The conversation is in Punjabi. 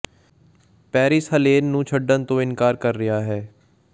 ਪੈਰਿਸ ਹਲੇਨ ਨੂੰ ਛੱਡਣ ਤੋਂ ਇਨਕਾਰ ਕਰ ਰਿਹਾ ਹੈ